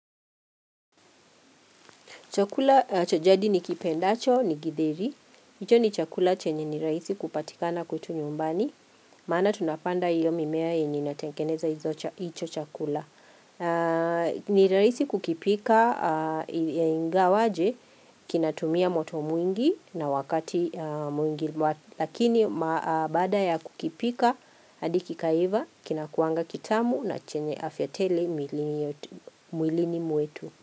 Chakula cha jadi ni kipendacho, ni githeri. Hicho ni chakula chenye nirahisi kupatikana kwetu nyumbani. Maana tunapanda hiyo mimea yenye inatengeneza hicho chakula. Nirahisi kukipika ya inga waje, kinatumia moto mwingi na wakati mwingi. Lakini ma baada ya kukipika, hadi ki kaiva, kinakuanga kitamu na chenye afya tele mwilini mwetu.